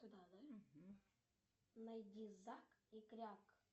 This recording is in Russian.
найди зак и кряк